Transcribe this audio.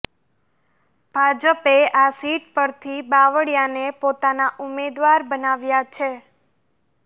ભાજપે આ સીટ પરથી બાવળીયાને પોતાના ઉમેદવાર બનાવ્યા છે